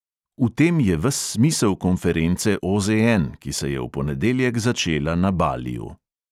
V tem je ves smisel konference OZN, ki se je v ponedeljek začela na baliju.